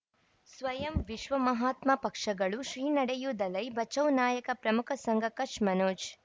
ಸ್ವಯಂ ವಿಶ್ವ ಮಹಾತ್ಮ ಪಕ್ಷಗಳು ಶ್ರೀ ನಡೆಯೂ ದಲೈ ಬಚೌ ನಾಯಕ ಪ್ರಮುಖ ಸಂಘ ಕಚ್ ಮನೋಜ್